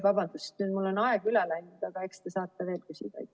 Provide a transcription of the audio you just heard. Vabandust, nüüd mul on aeg üle läinud, aga eks te saate veel küsida.